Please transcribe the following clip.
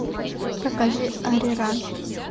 покажи ариран